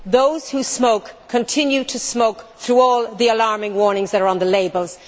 Those who smoke continue to smoke through all the alarming warnings that are on the labels.